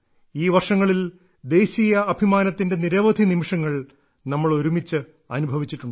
ഈ വർഷങ്ങളിൽ ദേശീയ അഭിമാനത്തിന്റെ നിരവധി നിമിഷങ്ങൾ നമ്മൾ ഒരുമിച്ച് അനുഭവിച്ചിട്ടുണ്ട്